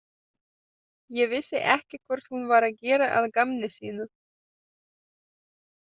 Ég vissi ekki hvort hún var að gera að gamni sínu.